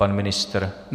Pan ministr?